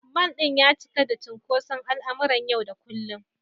Mall ɗin ya cika da cunkoson al’amuran yau da kullum.